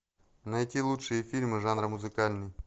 найти лучшие фильмы жанра музыкальный